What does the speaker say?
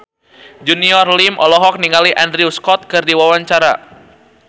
Junior Liem olohok ningali Andrew Scott keur diwawancara